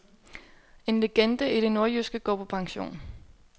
En legende i det nordjyske går på pension.